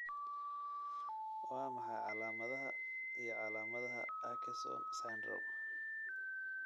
Waa maxay calaamadaha iyo calaamadaha Akesson syndrome?